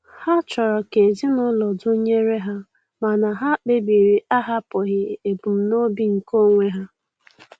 Ha chọrọ ka ezinụlọ dụnyere ha mana ha kpebiri ahapụghị ebumnobi nke onwe ha.